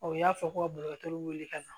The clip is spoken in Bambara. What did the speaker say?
u y'a fɔ ko ka dɔkɔtɔrɔw wele ka na